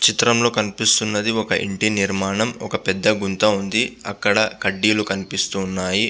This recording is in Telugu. చిత్రం లొ కనిప్స్తునది వక ఇంటి నిరమనముబ్ వక పెద్ద గుంత ఉంది అక్కడ కడ్డీలు కనిపిస్తుఉన్నాయ్.